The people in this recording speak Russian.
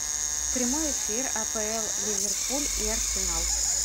прямой эфир апл ливерпуль и арсенал